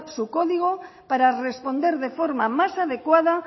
su código para responder de forma más adecuada